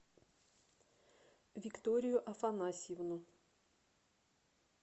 викторию афанасьевну